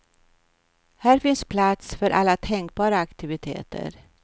Här finns plats för alla tänkbara aktiviteter.